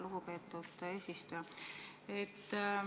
Lugupeetud eesistuja!